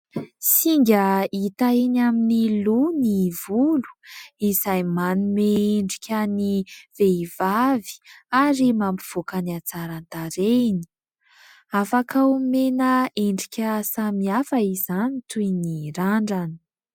Singa hita enỳ amin'ny loha ny volo izay manome endrika ny vehivavy ary mampivoaka ny antsara tarehiny. Afaka omena endrika samihafa izany toy ny randrana.